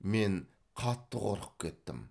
мен қатты қорқып кеттім